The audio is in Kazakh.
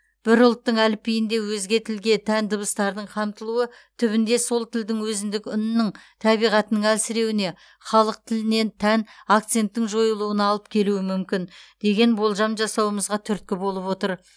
бір ұлттың әліпбиінде өзге тілге тән дыбыстардың қамтылуы түбінде сол тілдің өзіндік үнінің табиғатының әлсіреуіне халық тіліне тән акценттің жойылуына алып келуі мүмкін деген болжам жасауымызға түрткі болып отыр